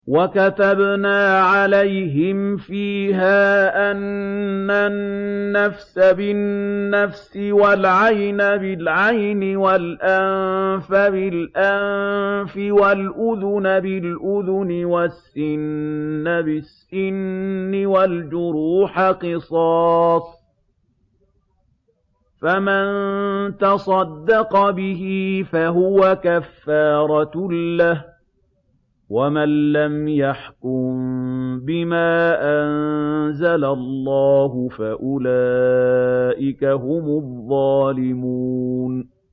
وَكَتَبْنَا عَلَيْهِمْ فِيهَا أَنَّ النَّفْسَ بِالنَّفْسِ وَالْعَيْنَ بِالْعَيْنِ وَالْأَنفَ بِالْأَنفِ وَالْأُذُنَ بِالْأُذُنِ وَالسِّنَّ بِالسِّنِّ وَالْجُرُوحَ قِصَاصٌ ۚ فَمَن تَصَدَّقَ بِهِ فَهُوَ كَفَّارَةٌ لَّهُ ۚ وَمَن لَّمْ يَحْكُم بِمَا أَنزَلَ اللَّهُ فَأُولَٰئِكَ هُمُ الظَّالِمُونَ